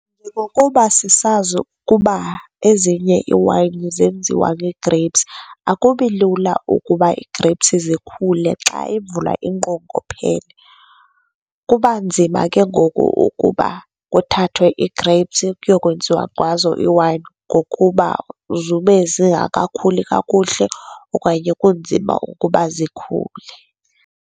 Njengokuba sisazi ukuba ezinye iiwayini zenziwa nge-grapes, akubi lula ukuba ii-grapes zikhule xa imvula inqongophele, kuba nzima ke ngoku ukuba kuthathwe ii-grapes kuyokwenziwa ngazo iwayini ngokuba zube zingakakhuli kakuhle okanye kunzima ukuba zikhule.